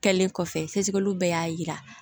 Kɛlen kɔfɛ sɛgɛsɛgɛliw bɛɛ y'a yira